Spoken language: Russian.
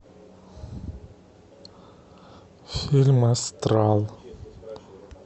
фильм астрал